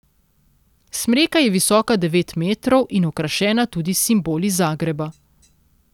Smreka je visoka devet metrov in okrašena tudi s simboli Zagreba.